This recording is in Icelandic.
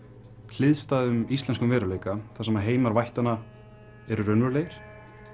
hliðstæðum íslenskum veruleika þar sem heimar vættanna eru raunverulegir